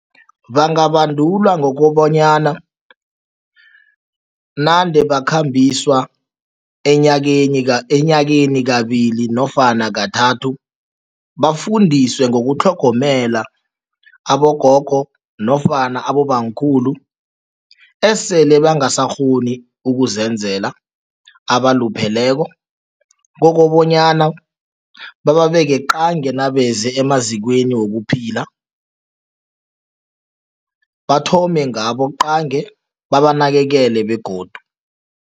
Bangabandulwa ngokobanyana nande bakhambiswa enyakeni kabili nofana kathathu, bafundiswe ngokutlhogomela abogogo nofana abobamkhulu esele bangasakghoni ukuzenzela, abalupheleko kokobanyana babeke qangi nabeze emazikweni wokuphila, bathome ngabo qangi, babanakekele begodu.